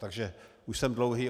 Takže už jsem dlouhý.